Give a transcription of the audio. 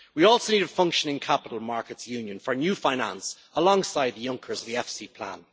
We also need a functioning capital markets union for new finance, alongside Juncker's the EFSI plan.